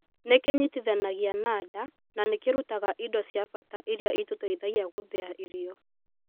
Nĩ kĩnyitithanagia na nda na nĩ kĩrutaga indo cia bata iria itũteithagia gũthiya irio